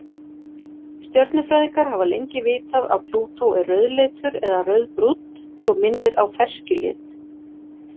Stjörnufræðingar hafa lengi vitað að Plútó er rauðleitur eða rauðbrúnn svo minnir á ferskjulit.